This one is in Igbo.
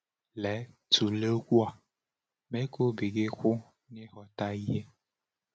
Lee, tụlee okwu a: “Mee ka obi gị kwụ n’ịghọta ihe.”